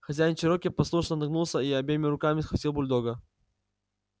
хозяин чероки послушно нагнулся и обеими руками схватил бульдога